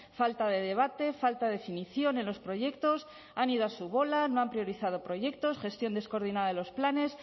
falta de debate falta definición en los proyectos han ido a su bola no han priorizado proyectos gestión descoordinada de los planes